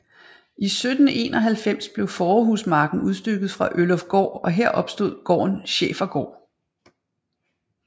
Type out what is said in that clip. I 1791 blev Faarehusmarken udstykket fra Ølufgård og her opstod gården Schæfergård